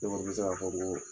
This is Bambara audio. Dɔw bɛ ka fɔ ko